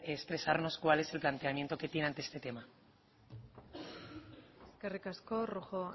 expresarnos cuál es su planteamiento que tiene ante este tema eskerrik asko rojo